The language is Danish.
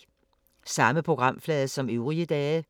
Samme programflade som øvrige dage